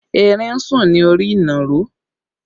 Erin ń sùn ní orí ìnàró